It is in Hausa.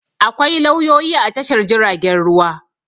Akwai lauyoyi a Tashar jiaragen ruwa.